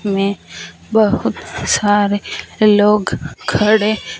में बहुत सारे लोग खड़े --